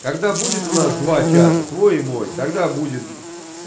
когда будет у нас два чата твой и мой тогда будет